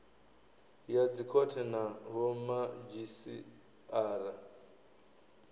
ya dzikhothe na vhomadzhisi ara